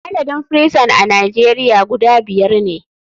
Adadin firison a nijeria guda biyar ne.